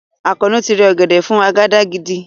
Àkànó ti rẹ ọ̀gẹ̀dẹ̀ fún àgàdàgídí